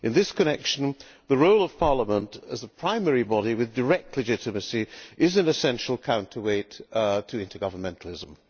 In this connection, the role of Parliament as a primary body with direct legitimacy is an essential counterweight to intergovernmentalism.